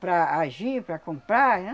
Para agir, para comprar, né?